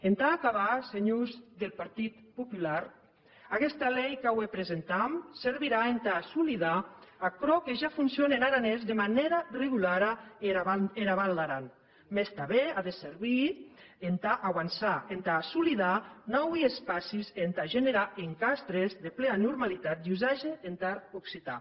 entà acabar senhors deth partit popular aguesta lei qu’aué presentam servirà entà assolidar aquerò que ja foncione en aranés de manèra regulara ena val d’aran mès tanben a de servir entà auançar entà assolidar naui espacis e entà generar encastres de plea normalitat d’usatge entar occitan